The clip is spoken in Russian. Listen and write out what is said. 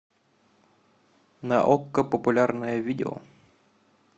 на окко популярное видео